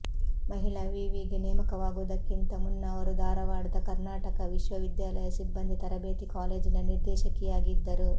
ಮಹಿಳಾ ವಿವಿಗೆ ನೇಮಕವಾಗುವುದಕ್ಕಿಂತ ಮುನ್ನ ಅವರು ಧಾರವಾಡದ ಕರ್ನಾಟಕ ವಿಶ್ವವಿದ್ಯಾಲಯದ ಸಿಬ್ಬಂದಿ ತರಬೇತಿ ಕಾಲೇಜಿನ ನಿರ್ದೇಶಕಿಯಾಗಿದ್ದರು